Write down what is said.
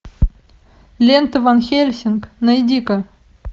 лента ван хельсинг найди ка